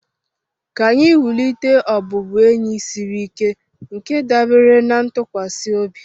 Ka anyị wulite ọbụbụenyi siri ike nke dábèrè na ntụkwasị obi